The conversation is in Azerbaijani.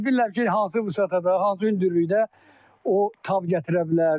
Mən indi bilirəm ki, hansı vüsətdə, hansı hündürlükdə o tab gətirə bilər.